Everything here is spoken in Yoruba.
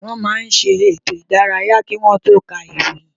Wọ́n máa ń ṣe ètò ìdárayá kí wọ́n tó ká ìròyìn